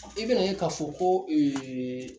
I bɛna n'a ye ka fɔ ko ee